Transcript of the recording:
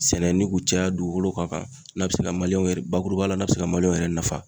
Sɛnɛ ni k'u caya dugukolo kɔkan n'a bɛ se ka yɛrɛ bakurubaya la n'a bɛ se ka yɛrɛ nafa.